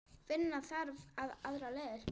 Finna þarf aðrar leiðir.